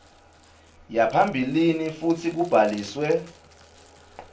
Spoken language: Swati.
yaphambilini futsi kubhaliswe